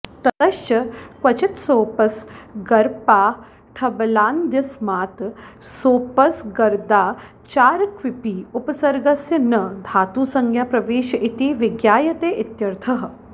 ततश्च क्वचित्सोपसर्गपाठबलादन्यस्मात् सोपसर्गादाचारक्विपि उपसर्गस्य न धातुसंज्ञाप्रवेश इति विज्ञायते इत्यर्थः